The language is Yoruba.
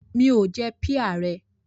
Mi ò jẹ píà rẹ.